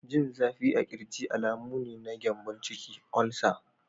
Jin zafi a ƙirji alamu ne na gyambon ciki/Olsa.